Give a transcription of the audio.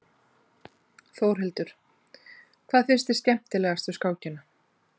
Þórhildur: Hvað finnst þér skemmtilegast við skákina?